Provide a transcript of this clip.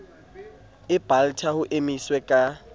e balta ho emiswe ka